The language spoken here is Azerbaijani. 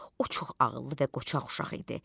O çox ağıllı və qoçaq uşaq idi.